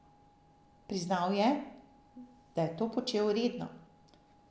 Priznal je, da je to počel redno.